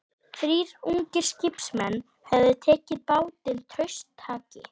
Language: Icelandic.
Þrír ungir skipsmenn höfðu tekið bátinn traustataki.